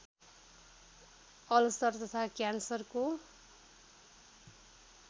ulcer तथा क्यान्सरको